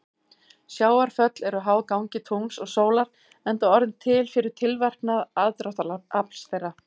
Sjávarföll eru háð gangi tungls og sólar enda orðin til fyrir tilverknað aðdráttarafls þeirra.